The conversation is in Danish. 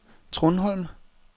Trundholm